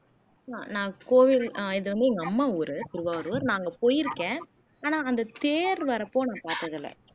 நான் கோவில் ஆஹ் இது வந்து எங்க அம்மா ஊரு திருவாரூர் நான் அங்க போயிருக்க ஆனா அந்த தேர் வரப்போ நான் பார்த்தது இல்லை